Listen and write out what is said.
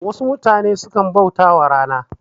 Wasu mutane sukan bautawa rana